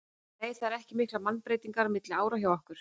Nei það eru ekki miklar mannabreytingar milli ára hjá okkur.